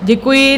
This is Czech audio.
Děkuji.